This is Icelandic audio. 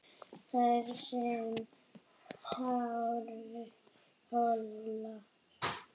Þar sem háir hólar